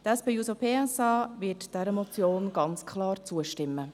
Die SP-JUSO-PSA-Fraktion wird dieser Motion ganz klar zustimmen.